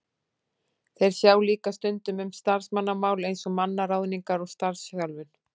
Þeir sjá líka stundum um starfsmannamál eins og mannaráðningar og starfsþjálfun.